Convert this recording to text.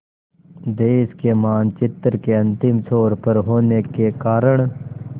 देश के मानचित्र के अंतिम छोर पर होने के कारण